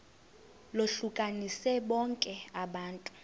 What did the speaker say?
lohlukanise bonke abantu